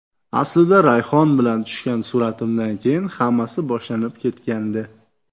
Aslida rayhon bilan tushgan suratimdan keyin hammasi boshlanib ketgandi.